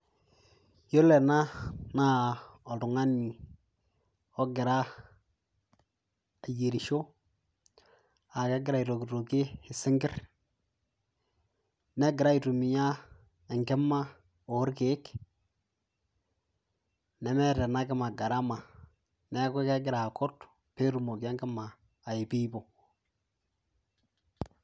Iyiolo ena naa oltungani ogira ayierisho na kegira aitokitokie singir negira aitumia enkima orkiek nemeeta enakima garama neaku kegira akut petumoki enkima ayupuyupo.